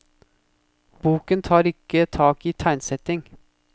Boken tar ikke tak i tegnsetting.